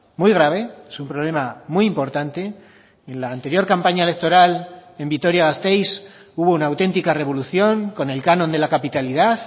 muy grave es un problema muy importante en la anterior campaña electoral en vitoria gasteiz hubo una auténtica revolución con el canon de la capitalidad